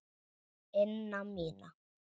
ina mína.